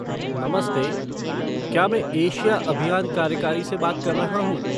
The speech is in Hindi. नमस्ते! क्या मैं एशिया अभियान कार्यकारी से बात कर रहा हूँ?